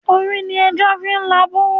Orí ni ẹja fi ń la ibú.